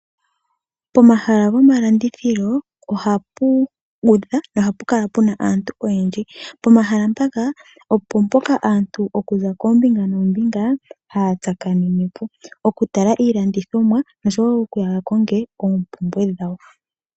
Pomahala gomalandithilo, ohapu kala puna aantu oyendji. Pomahala mpoka opo mpoka aantu haya tsakanene okuza koombinga noombinga. Okutala iilanditomwa, noshowo okuuya yakonge oompumbwe dhawo.